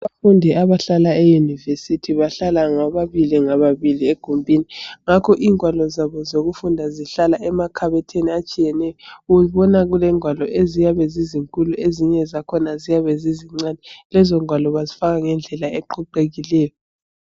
Abafundi abahlala eUniversity bahlala ngababili ngababili egumbini. Ngakho ingwalo zabo zokufunda zihlala emakhabothini atshiyeneyo ubona kulengwalo eziyabe zizinkulu ezinye zakhona ziyabe zizincane ,lezo ngwalo bazifaka ngendlela eqoqekileyo.